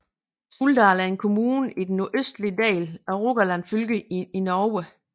Suldal er en kommune i den nordøstlige del af Rogaland fylke i Norge